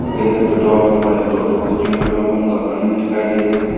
Petrol pump बने दो दो से तीन पेट्रोल पंप बने हुए दिखाई दे रहे हैं।